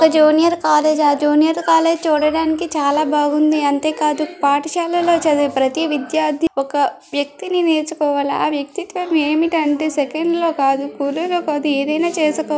ఒక junior college ఆ junior college చూడడానికి చాలా బాగుంది అంతేకాదు పాఠశాలలో చదివే ప్రతి విద్యార్థి ఒక వ్యక్తిని నేర్చుకోవాలి ఆ వ్యక్తిత్యం ఏమిటంటే సెకండ్ లో కాదు కొద్దిగా కాదు ఏదైనా చేసుకో.